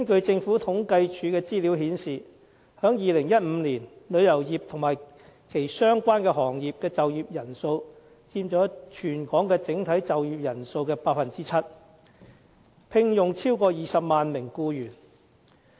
政府統計處的資料顯示，在2015年，旅遊業和其相關行業的就業人數佔全港整體就業人數的 7%， 聘用超過20萬名僱員。